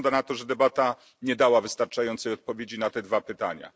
Wygląda na to, że debata nie dała wystarczającej odpowiedzi na te dwa pytania.